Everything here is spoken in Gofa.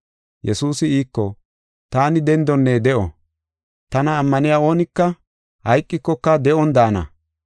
Yesuusi iiko, “Taani dendonne de7o; tana ammaniya oonika hayqikoka de7on daana.